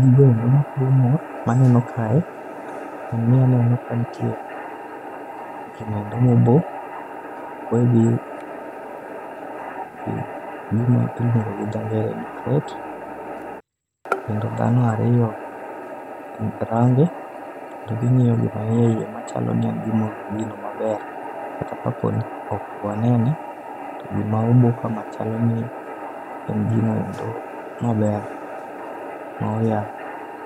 gino endo makelo mor maneno kae en ni nitie gino endo moboo, oboe gi gima luongo gi dho ngere ni crate kendo dhano ariyo range kendo gingiyo gima nie eiye machalo ni en gino maber kata kaopo ni ok waneneo to gima obo kamacha chalo ni en gino endo maber moyaa